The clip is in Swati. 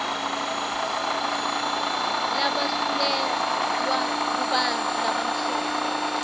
labasuselwa kubantfu labamhlophe